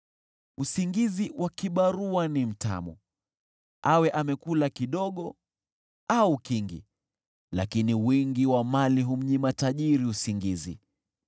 Usingizi wa kibarua ni mtamu, awe amekula kidogo au kingi, lakini wingi wa mali humnyima tajiri usingizi.